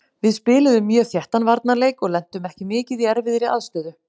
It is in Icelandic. Við spiluðum mjög þéttan varnarleik og lentum ekki mikið í erfiðri aðstöðu.